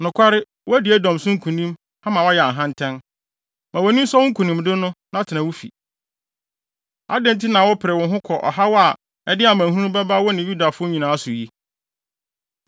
Nokware woadi Edom so nkonim, ama woayɛ ahantan. Ma wʼani nsɔ wo nkonimdi no, na tena wo fi. Adɛn nti na wopere wo ho kɔ ɔhaw a ɛde amanehunu bɛba wo ne Yudafo nyinaa so yi?”